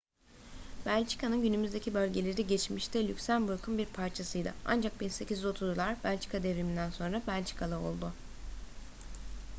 belçika'nın günümüzdeki bölgeleri geçmişte lüksemburg'un bir parçasıydı ancak 1830'lar belçika devrimi'nden sonra belçikalı oldu